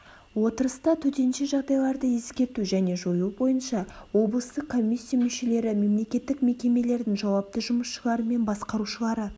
отырыста төтенше жағдайларды ескерту және жою бойынша облыстық комиссия мүшелері мемлекеттік мекемелердің жауапты жұмысшылары мен басқарушылары